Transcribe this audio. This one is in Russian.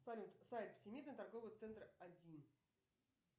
салют сайт всемирный торговый центр один